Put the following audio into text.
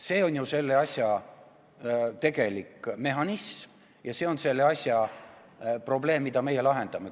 See on ju selle kõige tegelik mehhanism ja see on probleem, mida meie lahendame.